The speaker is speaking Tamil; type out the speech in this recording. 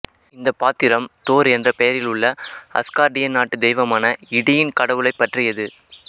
இந்த பாத்திரம் தோர் என்ற பெயரில் உள்ள அஸ்கார்டியன் நாட்டு தெய்வமான இடியின் கடவுளை பற்றியது